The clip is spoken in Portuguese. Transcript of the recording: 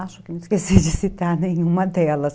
Acho que não esqueci de citar nenhuma delas.